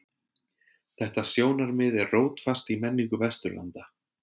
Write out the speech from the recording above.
Þetta sjónarmið er rótfast í menningu Vesturlanda.